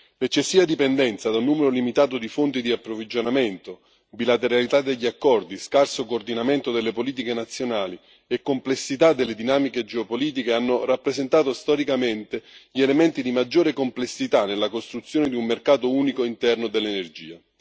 L'eccessiva dipendenza da un numero limitato di fonti di approvvigionamento, la bilateralità degli accordi, lo scarso coordinamento delle politiche nazionali e la complessità delle dinamiche geopolitiche hanno rappresentato storicamente gli elementi di maggiore complessità nella costruzione di un mercato unico interno dell'energia.